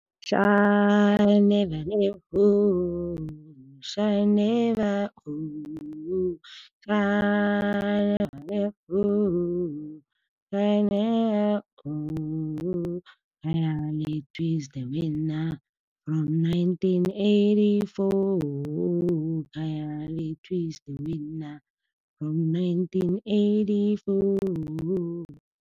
Shall never let go, shall never go. Shall never never , shall never . Khayalethu is the winner from nineteen eighty-four. Khayalethu is the winner from nineteen eighty-four.